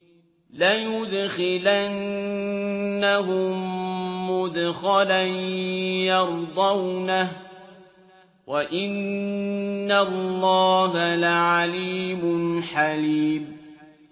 لَيُدْخِلَنَّهُم مُّدْخَلًا يَرْضَوْنَهُ ۗ وَإِنَّ اللَّهَ لَعَلِيمٌ حَلِيمٌ